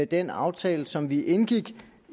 den aftale som vi indgik